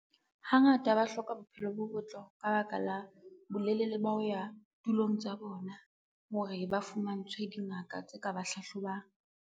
Hangata ba hloka bophelo bo botle ka baka la bolelele ba ho ya tulong tsa bona hore ba fumantshwe dingaka tse ka ba hlahlobang.